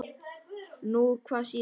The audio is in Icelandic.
Nú hvað sýnist þér.